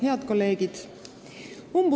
Head kolleegid!